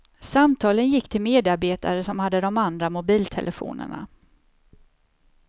Samtalen gick till medarbetare som hade de andra mobiltelefonerna.